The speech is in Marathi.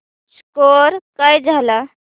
स्कोअर काय झाला